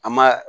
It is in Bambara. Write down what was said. An ma